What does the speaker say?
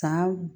San